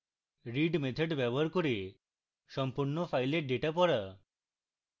read method ব্যবহার করে সম্পূর্ণ files ডেটা পড়া